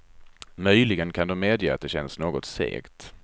Möjligen kan de medge att det känns något segt.